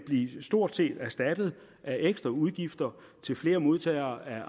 stort set blive erstattet af ekstra udgifter til flere modtagere af